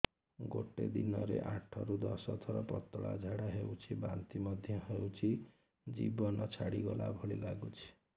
ଗୋଟେ ଦିନରେ ଆଠ ରୁ ଦଶ ଥର ପତଳା ଝାଡା ହେଉଛି ବାନ୍ତି ମଧ୍ୟ ହେଉଛି ଜୀବନ ଛାଡିଗଲା ଭଳି ଲଗୁଛି